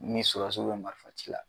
Ni surasiw be marifaci la